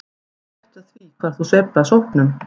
Og gættu að því hvar þú sveifla sópnum.